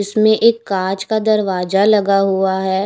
इसमें एक काच का दरवाजा लगा हुआ है।